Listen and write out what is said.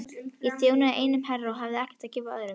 Ég þjónaði einum herra og hafði ekkert að gefa öðrum.